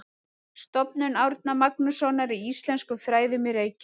Stofnun Árna Magnússonar í íslenskum fræðum í Reykjavík.